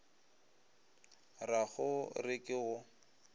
ra go re ke go